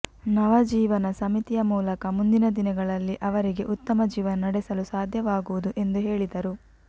ನವ ಜೀವನ ಸಮಿತಿಯ ಮೂಲಕ ಮುಂದಿನ ದಿನಗಳಲ್ಲಿ ಅವರಿಗೆ ಉತ್ತಮ ಜೀವನ ನಡೆಸಲು ಸಾಧ್ಯವಾಗುವುದು ಎಂದು ಹೇಳಿದರು